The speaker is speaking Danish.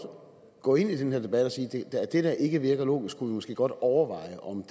gå ind i den her debat og sige at det der ikke virker logisk kunne vi måske godt overveje om